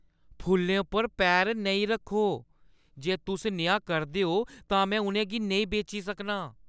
फुल्लें पर पैर नेईं रक्खो! जे तुस नेहा करदे ओ तां में उʼनें गी नेईं बेची सकनां!